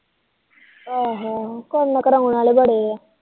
ਆਹੋ ਆਹੋ ਕਰਨ ਕਰੋਨ ਆਲੇ ਬੜੇ